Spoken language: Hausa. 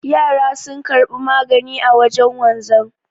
Yara sun karbi magani a wajen wanzan